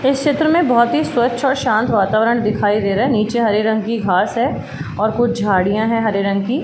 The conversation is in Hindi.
इस क्षेत्र में बहोत ही स्वच्छ और शांत वातावरण दिखाई दे रहा है। नीचे हरे रंग की घास है और कुछ झाड़ियाँ हैं हरे रंग की।